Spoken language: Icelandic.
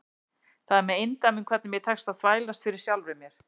Það er með eindæmum hvernig mér tekst að þvælast fyrir sjálfri mér.